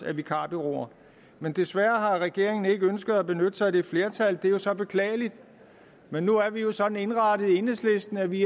af vikarbureauer men desværre har regeringen ikke ønsket at benytte sig af det flertal det er jo så beklageligt men nu er vi jo sådan indrettet i enhedslisten at vi